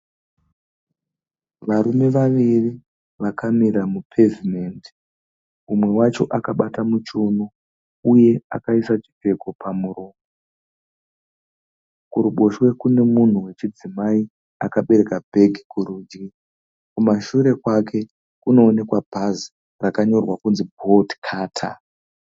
Varume vaviri vakamira mu pevhumendi umwe wacho akabata mu chiuno uye akaisa chipfeko pamuromo. Kuruboshwe kune munhu wechidzimayi akabereka bhegi kurudyi kumashure kwake kunoonekwa bhazi rakanyorwa kuti Boltcutter.